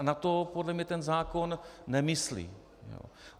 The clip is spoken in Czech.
A na to podle mě ten zákon nemyslí.